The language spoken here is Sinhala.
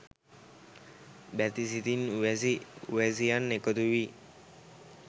බැති සිතින් උවැසි උවැසියන් එකතු වී